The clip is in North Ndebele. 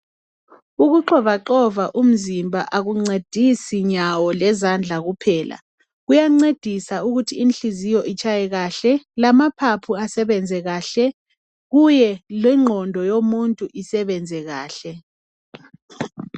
Ukuxovaxova umzimba akuncedisi nyawo lezandla kuphela, kuyancedisa ukuthi inhliziyo itshaye kahle ,lamaphapho asebenze kahle kuye lengqondo yomuntu isebenze kahle.